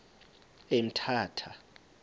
emthatha